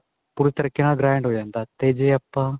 ਪੂਰੇ ਤਰੀਕੇ ਨਾਲ grand ਹੋ ਜਾਂਦਾ ਤੇ ਜੇ ਆਪਾਂ